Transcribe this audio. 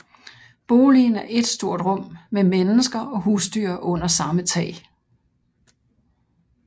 Boligen er ét stort rum med mennesker og husdyr under samme tag